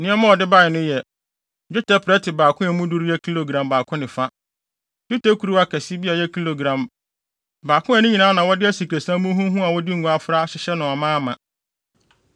Nneɛma a ɔde bae no yɛ: dwetɛ prɛte baako a emu duru yɛ kilogram baako ne fa, dwetɛ kuruwa kɛse bi a ɛbɛyɛ kilogram baako a ne nyinaa na wɔde asikresiam muhumuhu a wɔde ngo afra ahyɛ no amaama;